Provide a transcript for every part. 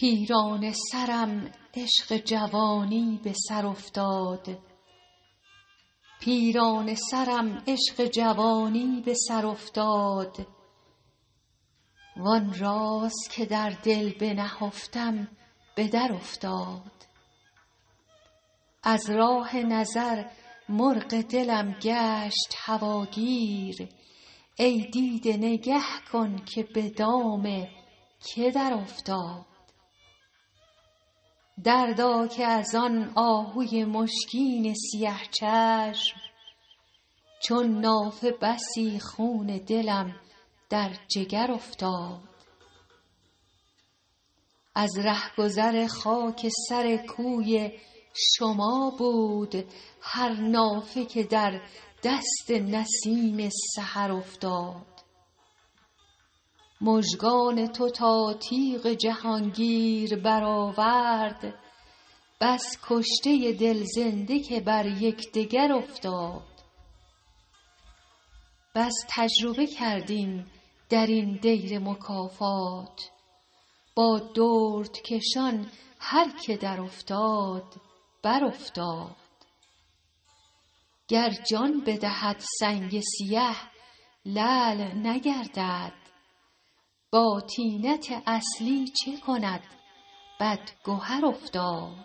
پیرانه سرم عشق جوانی به سر افتاد وآن راز که در دل بنهفتم به درافتاد از راه نظر مرغ دلم گشت هواگیر ای دیده نگه کن که به دام که درافتاد دردا که از آن آهوی مشکین سیه چشم چون نافه بسی خون دلم در جگر افتاد از رهگذر خاک سر کوی شما بود هر نافه که در دست نسیم سحر افتاد مژگان تو تا تیغ جهانگیر برآورد بس کشته دل زنده که بر یکدگر افتاد بس تجربه کردیم در این دیر مکافات با دردکشان هر که درافتاد برافتاد گر جان بدهد سنگ سیه لعل نگردد با طینت اصلی چه کند بدگهر افتاد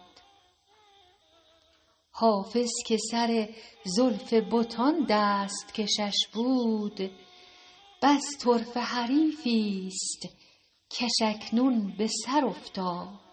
حافظ که سر زلف بتان دست کشش بود بس طرفه حریفی ست کش اکنون به سر افتاد